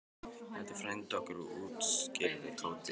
Þetta er frændi okkar útskýrði Tóti.